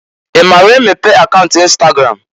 I maara emepe akaunt ịnstagram?